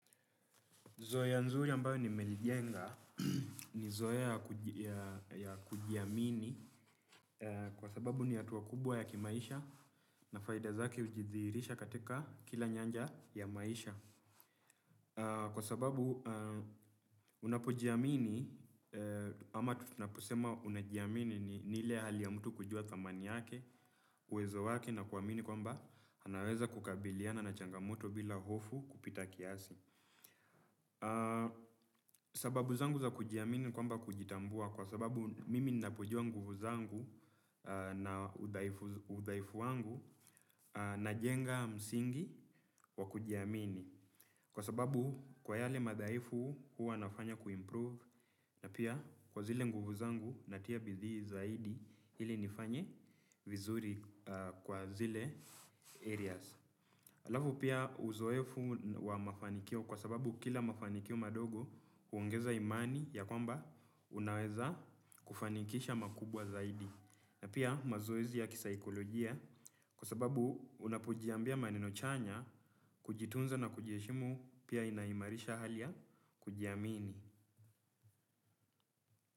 Zoya nzuri ambayo nimelijenga ni zoea ya kujiamini kwa sababu ni hatua kubwa ya kimaisha na faida zake ujithihrisha katika kila nyanja ya maisha. Kwa sababu unapojiamini ama tutunaposema unajiamini ni ile hali ya mtu kujua thamani yake, uwezo wake na kuamini kwamba anaweza kukabiliana na changamoto bila hofu kupita kiasi. Sababu zangu za kujiamini ni kwamba kujitambua kwa sababu mimi ninavyojua nguvu zangu na udhaifu wangu na jenga msingi wa kujiamini. Kwa sababu kwa yale madhaifu huwa nafanya kuimprove. Na pia kwa zile nguvu zangu natia bidii zaidi ili nifanye vizuri kwa zile areas alafu pia uzoefu wa mafanikio kwa sababu kila mafanikio madogo huongeza imani ya kwamba unaweza kufanikisha makubwa zaidi. Na pia mazoezi ya kisaikolojia kwa sababu unapojiambia maneno chanya kujitunza na kujeshimu pia inaimarisha halia ya ku jiamini.